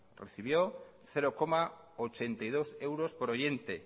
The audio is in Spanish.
recibió cero coma ochenta y dos euros por oyente